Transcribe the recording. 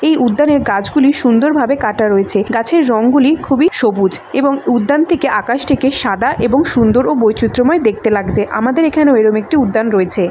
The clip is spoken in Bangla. এই উদ্যানের গাছগুলি সুন্দরভাবে কাটা রয়েছেগাছের রং গুলিখুবই সবুজএবং উদ্যান থেকে আকাশ টিকে সাদা এবং সুন্দর ও বৈচিত্র্যময় দেখতে লাগবে আমাদের এখানেও এরকম একটি উদ্যান রয়েছে।